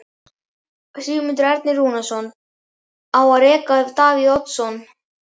Sigmundur Ernir Rúnarsson: Á að reka Davíð Oddsson?